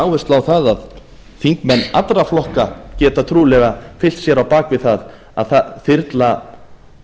áherslu á að þingmenn allra flokka geta trúlega fylkt sér á bak við það að þyrla